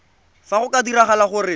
fa go ka diragala gore